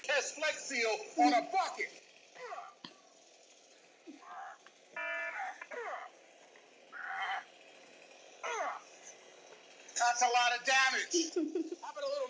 Lilla grét lengi ofan í eldhúshandklæðið.